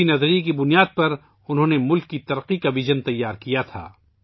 اسی خیال کی بنیاد پر انہوں نے ملک کی ترقی کا ویژن تیار کیا تھا